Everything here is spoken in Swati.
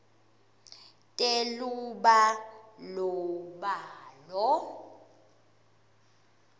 telubalobalo